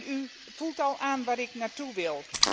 U voelt al aan waar ik naar toe wil.